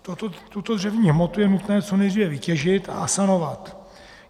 Tuto dřevní hmotu je nutné co nejdříve vytěžit a asanovat.